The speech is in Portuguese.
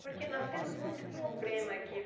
Porque nós temos muito problema aqui.